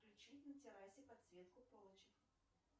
включи на террасе подсветку полочек